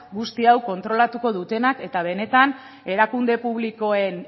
guzti hau kontrolatuko dutenak eta benetan erakunde publikoen